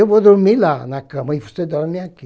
Eu vou dormir lá na cama e você dorme aqui.